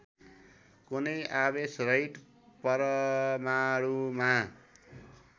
कुनै आवेशरहित परमाणुमा